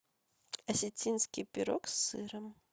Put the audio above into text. осетинский пирог с сыром